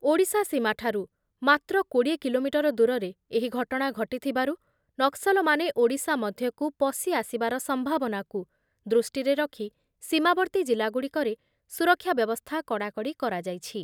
ଓଡ଼ିଶା ସୀମାଠାରୁ ମାତ୍ର କୋଡ଼ିଏ କିଲୋମିଟର ଦୂରରେ ଏହି ଘଟଣା ଘଟିଥିବାରୁ ନକ୍ସଲମାନେ ଓଡ଼ିଶା ମଧ୍ଯକୁ ପସିଆସିବାର ସମ୍ଭାବନାକୁ ଦୃଷ୍ଟିରେ ରଖି ସୀମାବର୍ତ୍ତୀ ଜିଲ୍ଲାଗୁଡ଼ିକରେ ସୁରକ୍ଷା ବ୍ୟବସ୍ଥା କଡ଼ାକଡ଼ି କରାଯାଇଛି